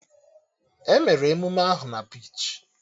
Emere emụme ahụ na bichi